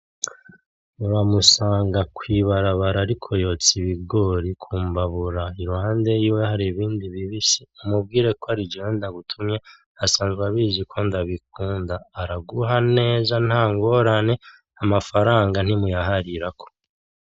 Uramusanga kw'ibarabara ariko yotsa ibigori ku mbabura iruhande yiwe hari ibindi bibisi, umubwire kwarije ndagutumye, asanzwe abizi ko ndabikunda. Araguha neza ntangorane, amafaranga ntimuyaharirako.